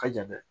Ka jan dɛ